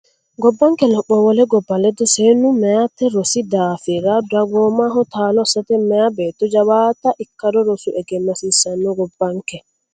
Gabbanke lopho wole gobba ledo Seennu meyate rosi daafi ra dagoomaho taalo assate meya beetto jawaante ikkado rosu egenno hasiisaanno Gabbanke.